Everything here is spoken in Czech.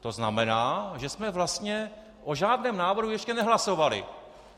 To znamená, že jsme vlastně o žádném návrhu ještě nehlasovali.